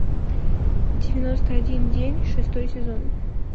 девяносто один день шестой сезон